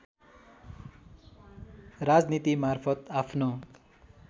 राजनीतिमार्फत आफ्नो